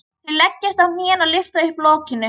Þau leggjast á hnén og lyfta upp lokinu.